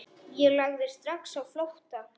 Ég lagði strax á flótta.